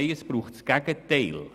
Nein, es braucht das Gegenteil.